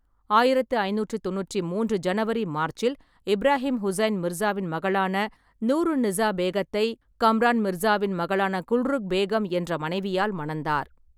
ஆயிரத்து ஐநூற்றி தொண்ணூற்றி மூன்று ஜனவரி/மார்ச்சில் இப்ராஹிம் ஹுசைன் மிர்சாவின் மகளான நூர் உன்-நிசா பேகத்தை கம்ரான் மிர்சாவின் மகளான குல்ருக் பேகம் என்ற மனைவியால் மணந்தார்.